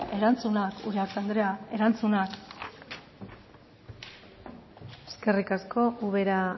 erantzunak uriarte andrea erantzunak eskerrik asko ubera